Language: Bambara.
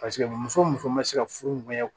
Paseke muso muso ma se ka furuɲɔgɔn